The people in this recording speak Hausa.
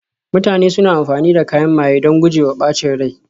mutane suna amfani da kayan maye don guje wa ɓacin rai